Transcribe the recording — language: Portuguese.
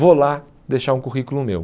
Vou lá deixar um currículo meu.